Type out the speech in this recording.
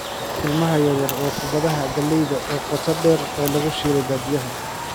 Ilmaha yar yar waa kubbadaha galleyda oo qoto dheer oo lagu shiilay badiyaa.